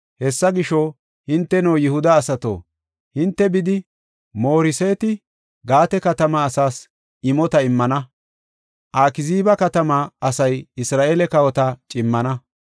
Hessa gisho, hinteno Yihuda asato, hinte bidi, Moreseet-Gaate katama asas imota immana. Akziiba katama asay Isra7eele kawota cimmana.